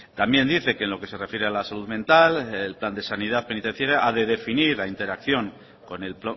también dice que en lo que se refiere a la salud mental el plan de sanidad penitenciaria a de definir la interacción con el